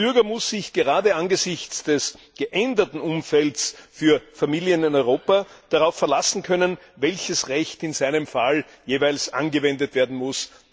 Der Bürger muss sich gerade angesichts des geänderten Umfelds für Familien in Europa darauf verlassen können, welches Recht in seinem Fall jeweils angewendet werden muss.